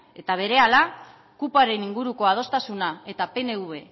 eta berehala kupoaren inguruko adostasuna eta pnv